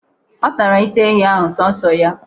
Ọ tara isi ehi ahụ sọọsọ ya.